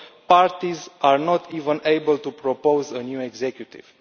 Parties are not even able to propose a new executive.